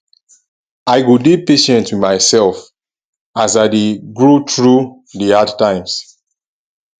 i go dey patient wit mysef as i dey grow through the hard times